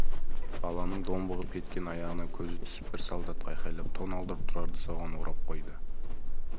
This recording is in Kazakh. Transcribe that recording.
баланың домбығып кеткен аяғына көзі түсіп бір солдатқа айқайлап тон алдырып тұрарды соған орап қойды